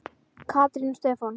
Katrín og Stefán.